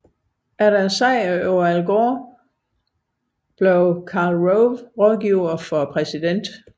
Efter sejren over Al Gore blev Karl Rove rådgiver for præsidenten